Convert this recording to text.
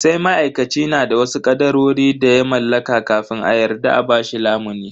Sai ma'aikaci na da wasu kadarori da ya mallaka kafin a yarda a bashi lamuni.